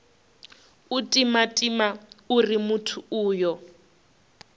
u timatima uri muthu uyo